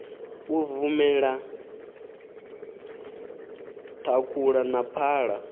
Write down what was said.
u bvumela thakhula na phala